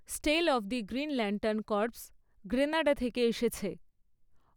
স্টেল of the Green Lantern Corps Grenada থেকে এসেছে।